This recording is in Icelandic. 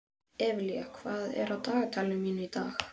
Evelía, hvað er á dagatalinu mínu í dag?